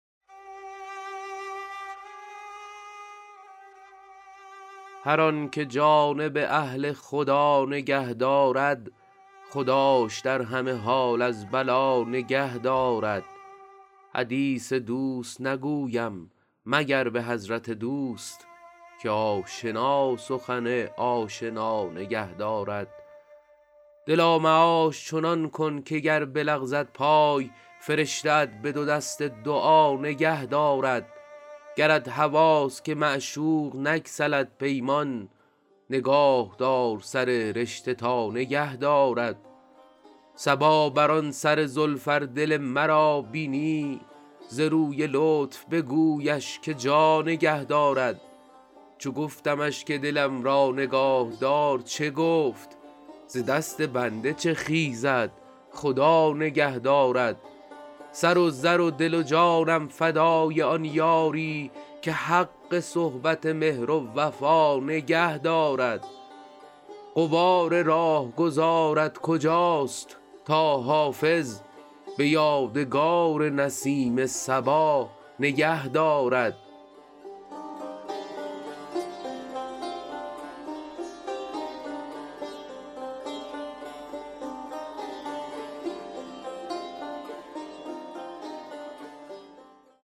هر آن که جانب اهل خدا نگه دارد خداش در همه حال از بلا نگه دارد حدیث دوست نگویم مگر به حضرت دوست که آشنا سخن آشنا نگه دارد دلا معاش چنان کن که گر بلغزد پای فرشته ات به دو دست دعا نگه دارد گرت هواست که معشوق نگسلد پیمان نگاه دار سر رشته تا نگه دارد صبا بر آن سر زلف ار دل مرا بینی ز روی لطف بگویش که جا نگه دارد چو گفتمش که دلم را نگاه دار چه گفت ز دست بنده چه خیزد خدا نگه دارد سر و زر و دل و جانم فدای آن یاری که حق صحبت مهر و وفا نگه دارد غبار راهگذارت کجاست تا حافظ به یادگار نسیم صبا نگه دارد